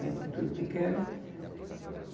A gente era tudo pequeno.